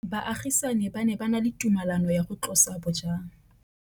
Baagisani ba ne ba na le tumalanô ya go tlosa bojang.